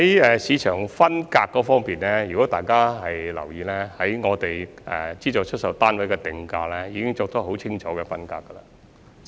在市場分隔方面，如果大家有留意的話，我們就資助出售單位作出定價時已有很清楚的分隔。